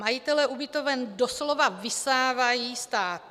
Majitelé ubytoven doslova vysávají stát.